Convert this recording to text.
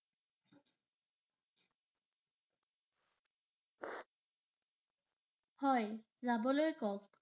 হয়, যাবলৈ কওঁক।